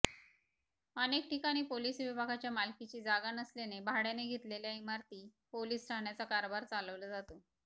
अनेकठिकाणी police विभागाच्या मालकीची जागा नसल्याने भाड्याने घेतलेल्या इमारती पोलीस ठाण्याचा कारभार चालवला जातो